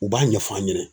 U b'a ɲɛf'a ɲɛna